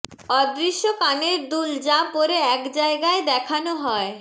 অদৃশ্য কানের দুল যা পরে এক জায়গায় দেখানো হয়